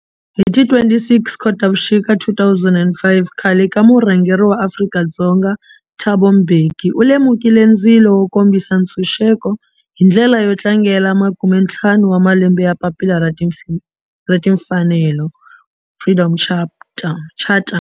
Hi ti 26 Khotavuxika 2005 khale ka murhangeri wa Afrika-Dzonga Thabo Mbeki u lumekile ndzilo wo kombisa ntshuxeko, hi ndlela yo tlangela makumentlhanu wa malembe ya papila ra timfanelo, Freedom Charter.